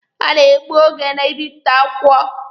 Ha na-egbu oge na ịbịpụta akwụkwọ.